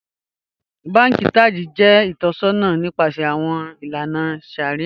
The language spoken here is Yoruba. Bànkì Taj jẹ itọ̀ṣọna nipasẹ̀ awọn ilànà shàríà.